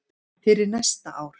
fyrir næsta ár.